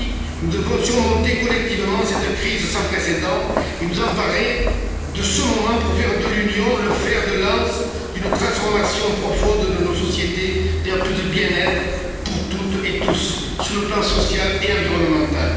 Oui, nous devons surmonter collectivement cette crise sans précédent et nous emparer de ce moment pour faire de l'Union le fer de lance d'une transformation profonde de nos sociétés vers plus de bien être pour toutes et tous, sur le plan social et environnemental.